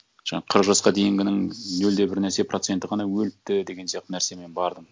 жаңа қырық жасқа дейінгінің нөл де бір нәрсе проценті ғана өліпті деген сияқты нәрсемен бардым